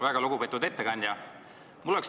Väga lugupeetud ettekandja!